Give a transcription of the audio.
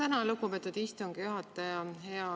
Tänan, lugupeetud istungi juhataja!